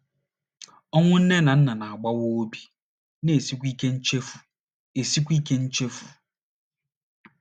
Ọnwụ nne na nna na - agbawa obi, na - esikwa ike nchefu esikwa ike nchefu.